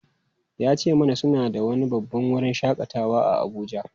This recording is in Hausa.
Ya ce mana suna da wani babban wurin shakatawa a Abuja.